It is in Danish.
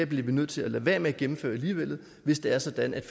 bliver nødt til at lade være med at gennemføre alligevel hvis det er sådan at